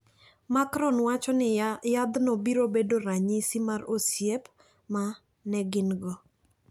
Macron wacho ni yadhno biro bedo ranyisi mar osiep ma ne gin go.